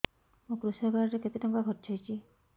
ମୋ କୃଷକ କାର୍ଡ ରେ କେତେ ଟଙ୍କା ଖର୍ଚ୍ଚ ହେଇଚି